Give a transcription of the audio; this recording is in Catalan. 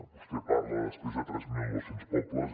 vostè parla després de tres mil nou cents pobles